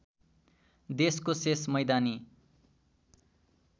देशको शेष मैदानी